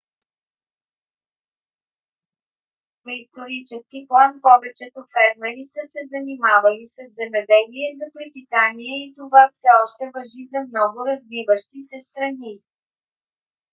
в исторически план повечето фермери са се занимавали със земеделие за препитание и това все още важи за много развиващи се страни